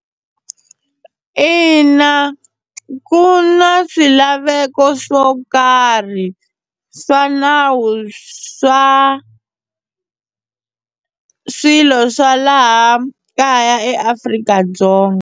Ina, ku na swilaveko swo karhi swa nawu swa swilo swa laha kaya eAfrika-Dzonga.